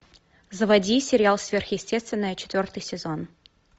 заводи сериал сверхъестественное четвертый сезон